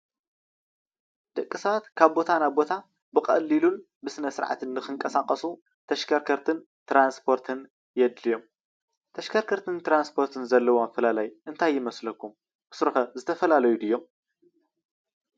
ደቂ ሰባት ካብ ናብ ቦታ ብቀሊሉን ብስነ ስርዓትን ንክንቀሳቀሱ ተሽከርከርትን ትራስፖርት የድልዮም። ተሽከርከርትን ትራስፖርትን ዘለዎም ኣፈላላይ እንታይ ይመስለኩም ብሱሩከ ዝተፈላለዩ ድዮም?